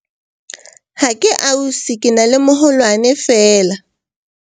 ha ke ausi ke na le moholwane feela